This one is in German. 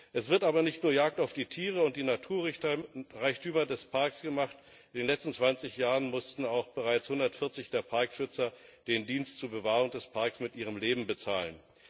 Es wird aber nicht nur Jagd auf die Tiere und die Naturreichtümer des Parks gemacht in den letzten 20 Jahren mussten auch bereits 140 der Parkschützer den Dienst zur Bewahrung des Parks mit ihrem Leben bezahlen.